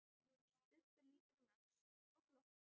Stubbur lítur um öxl og glottir.